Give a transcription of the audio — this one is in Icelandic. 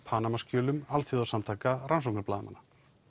Panamaskjölum alþjóðsamtaka rannsóknarblaðamanna